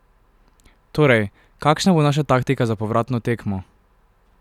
Torej, kakšna bo naša taktika za povratno tekmo?